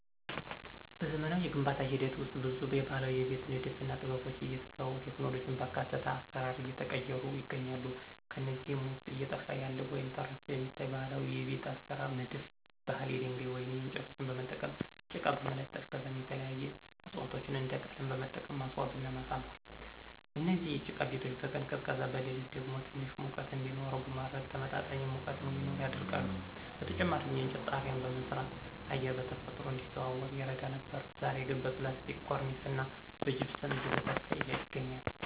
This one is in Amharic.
በዘመናዊ የግንባታ ሂደት ውስጥ ብዙ የባህላዊ የቤት ንድፍና ጥበቦች እየተተው ቴክኖሎጂን ባካተተ አሰራር እየተቀየሩ ይገኛሉ። ከነዚህም ውስጥ እየጠፋ ያለ ወይም ተረስቶ የሚታይ ባህላዊ የቤት አሰራር ንድፍ ባህል የድንጋይ ወይም እንጨቶችን በመጠቀም ጭቃ በመለጠፍ ከዛም የተለያዩ ዕፅዋቶችን እንደ ቀለም በመጠቀም ማስዋብና ማሳመር። እነዚህ የጭቃ ቤቶች በቀን ቀዝቃዛ በሌሊት ደግሞ ትንሽ ሙቀት እንዲኖረው በማድረግ ተመጣጣኝ ሙቀት እዲኖር ያደርጋሉ። በተጨማሪም የእንጨት ጣሪያ በመስራት አየር በተፈጥሮ እንዲዘዋወር ይረዳ ነበር ዛሬ ግን በፕላስቲክ ኮርኒስና በጅፕሰም እየተተካ ይገኛል።